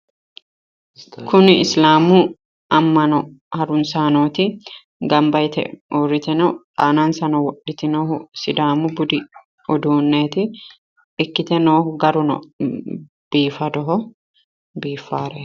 Kuni isilaamu ammano harunsaanooti. Gamba yite uurrite no aanansano wodhite noohu sidaamu budu uduunneeti. Ikkite noohu garu biifadoho biiffaareeti.